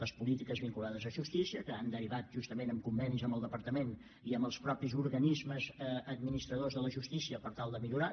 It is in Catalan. les polítiques vinculades a justícia que han derivat justament en convenis amb el departament i amb els mateixos organismes administradors de la justícia per tal de millorar